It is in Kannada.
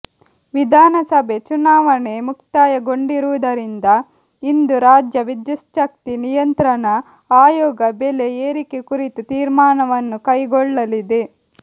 ವಿಧಾನಸಭೆ ಚುನಾವಣೆ ಮುಕ್ತಾಯಗೊಂಡಿರುವುದರಿಂದ ಇಂದು ರಾಜ್ಯ ವಿದ್ಯುಚ್ಛಕ್ತಿ ನಿಯಂತ್ರಣ ಆಯೋಗ ಬೆಲೆ ಏರಿಕೆ ಕುರಿತು ತೀರ್ಮಾನವನ್ನು ಕೈಗೊಳ್ಳಲಿದೆ